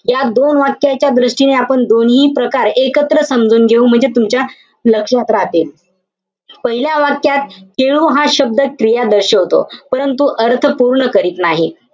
या दोन वाक्याच्या दृष्टीने आपण दोन्ही प्रकार एकत्र समजून घेऊ. म्हणजे तुमच्या लक्षात राहतील. पहिल्या वाक्यात खेळू हा शब्द क्रिया दर्शवतो.